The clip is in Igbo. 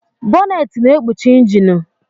Bọnnet na ekpuchi injinu.